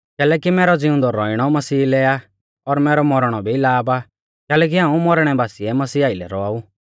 कैलैकि मैरौ ज़िउंदौ रौइणौ मसीह लै आ और मैरौ मौरणौ भी लाभ आ कैलैकि हाऊं मौरणै बासीऐ मसीह आइलै रौआऊ